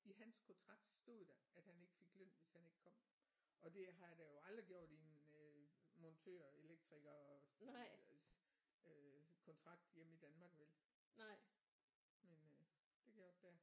I hans kontrakt stod der at han ikke fik løn hvis han ikke kom og det har der jo aldrig gjort i en øh montør elektriker øh kontrakt hjemme i Danmark vel men øh det gjorde der der